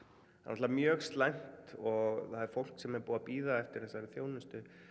náttúrulega mjög slæmt og það er fólk sem er búið að bíða eftir þessari þjónustu